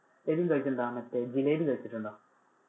എബിൻ കഴിച്ചിട്ടുണ്ടോ, മറ്റേ ജിലേബി കഴിച്ചിട്ടുണ്ടോ?